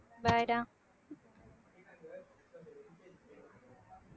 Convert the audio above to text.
bye டா